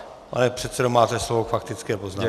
Pane předsedo, máte slovo k faktické poznámce.